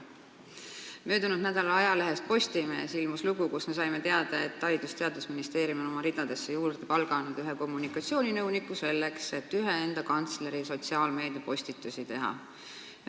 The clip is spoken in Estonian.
Möödunud nädalal ilmus ajalehes Postimees lugu, kust me saime teada, et Haridus- ja Teadusministeerium on oma ridadesse palganud ühe kommunikatsiooninõuniku, selleks et ta kantsleri sotsiaalmeediapostitusi teeks.